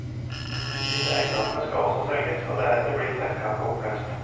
Disse eiendommene skal også selges, og deretter blir selskapet oppløst.